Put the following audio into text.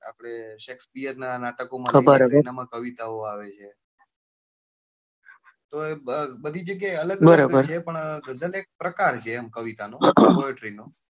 આપડે શેકસ પિયરનાં નાટકો માં એમાં કવિતા ઓં આવે છે બધી જગ્યા એ અલગ અલગ છે પણ ગઝલ એક પ્રકાર છે એમ કવિતા નો poetry નો,